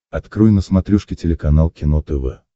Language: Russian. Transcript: открой на смотрешке телеканал кино тв